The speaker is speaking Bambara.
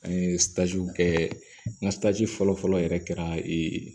An ye kɛ n ka fɔlɔ fɔlɔ yɛrɛ kɛra ee